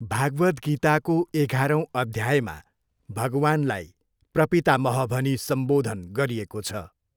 भागवद्गीताको एघारौँ अध्यायमा भगवान्लाई प्रपितामह भनी सम्बोधन गरिएको छ।